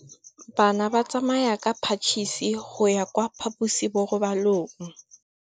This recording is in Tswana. Bana ba tsamaya ka phašitshe go ya kwa phaposiborobalong.